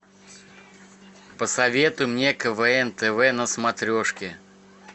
посоветуй мне квн тв на смотрешке